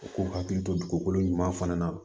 U k'u hakili to dugukolo ɲuman fana na